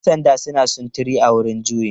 Yan sandan suna sintiri a wurin juyin.